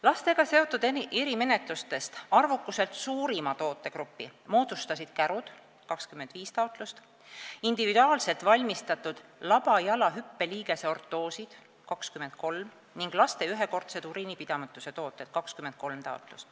Lastega seotud erimenetlustest arvukuselt suurima tootegrupi moodustasid kärud , individuaalselt valmistatud labajala hüppeliigese ortoosid ning laste ühekordsed uriinipidamatuse tooted .